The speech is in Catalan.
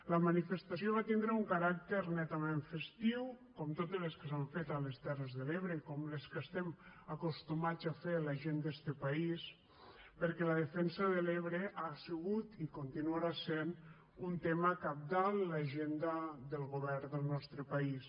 la manifestació va tindre un caràcter netament festiu com totes les que s’han fet a les terres de l’ebre i com les que estem acostumats a fer la gent d’este país perquè la defensa de l’ebre ha sigut i continuarà sent un tema cabdal en l’agenda del govern del nostre país